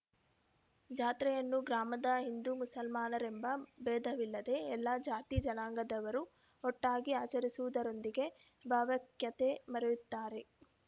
ಜಾತ್ರೆಯನ್ನು ಗ್ರಾಮದ ಹಿಂದೂಮುಸಲ್ಮಾನರೆಂಬ ಭೇದವಿಲ್ಲದೆ ಎಲ್ಲ ಜಾತಿ ಜನಾಂಗದವರು ಒಟ್ಟಾಗಿ ಆಚರಿಸುವುದರೊಂದಿಗೆ ಭಾವೈಕ್ಯತೆ ಮೆರೆಯುತ್ತಾರೆ